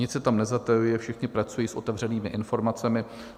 Nic se tam nezatajuje, všichni pracují s otevřenými informacemi.